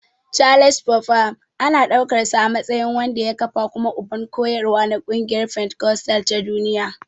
Charles Fox Parham ana ɗaukarsa a matsayin wanda ya kafa kuma uban koyarwa na ƙungiyar fentikostal ta duniya.